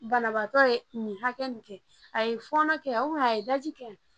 Banabaatɔ ye nin hakɛ nin kɛ a ye fɔnɔ kɛ a ye daji kɛ